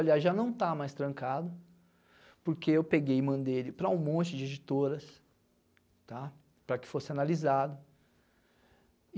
Aliás, já não está mais trancado, porque eu peguei e mandei ele para um monte de editoras, tá, para que fosse analisado.